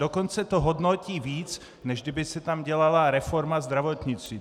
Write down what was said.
Dokonce to hodnotí víc, než kdyby se tam dělala reforma zdravotnictví.